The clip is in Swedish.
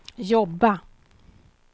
jobba